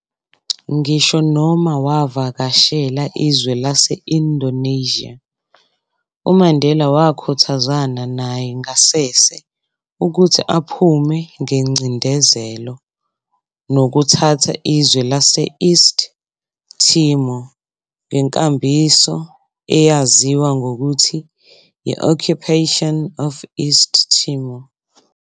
Ngisho noma wavakashela izwe lase-Indonesia, uMandela wakhuthazana naye ngasese ukuthi aphume ngencindezelo nokuthatha izwe lase-East Timor, ngenkambiso eyaziwa ngokuthi yi-occupation of East Timor.